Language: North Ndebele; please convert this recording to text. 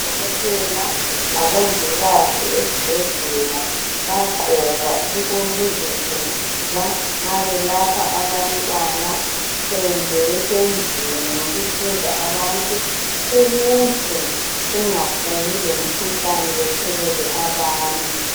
Udokotela labongikazi esibhedlela, bayagqoka okokuzivikela nxa belapha abantwana. Kumbe besendlini yokuhlinza abantu. Ukuze bangaphumi lemikhuhlane. Bathelele abanye.